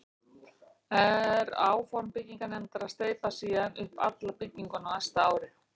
Er áform byggingarnefndar að steypa síðan upp alla bygginguna á næsta ári.